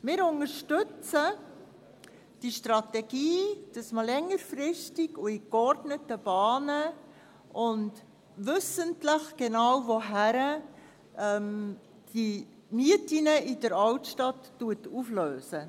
Wir unterstützen die Strategie, dass man längerfristig und in geordneten Bahnen, und wissend, wohin genau, die Mieten in der Altstadt auflöst.